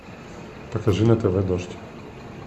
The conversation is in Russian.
покажи на тв дождь